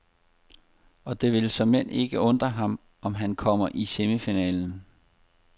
Og det vil såmænd ikke undre ham, om han kommer i semifinalen.